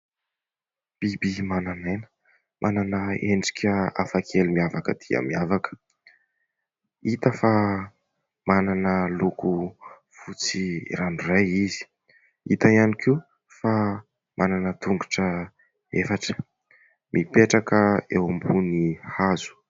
Biby manan'aina, manana endrika hafa kely miavaka dia miavaka; hita fa manana loko fotsy ranoray izy, hita ihany koa fa manana tongotra efatra, mipetraka eo ambony hazo.